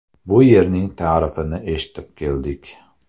Bu yerning ta’rifini eshitib keldik.